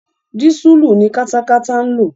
Dísùlù ni katakata ń lò.